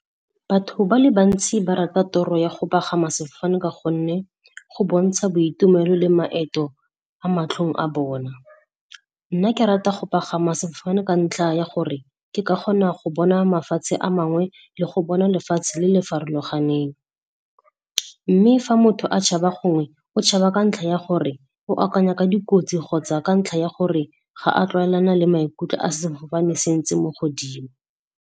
Batho ba le bantsi ba rata toro ya go pagama sefofane ka gonne go bontsha boitumelo le maeto a matlhong a bona. Nna ke rata go pagama sefofane ka ntlha ya gore ke ka kgona go bona mafatshe a mangwe le go bona lefatshe le le farologaneng, mme fa motho a tshaba gongwe o tshaba ka ntlha ya gore o akanya ka dikotsi kgotsa ka ntlha ya gore ga a tlwaelana le maikutlo a sefofane se ntse mo godimo.